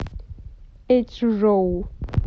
эчжоу